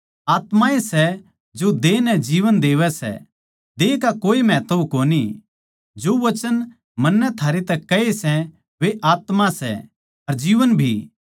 आत्मा ए सै जो देह नै जीवन देवै सै देह का कोए महत्व कोनी जो वचन मन्नै थारैतै कह्ये सै वे आत्मा सै अर जीवन भी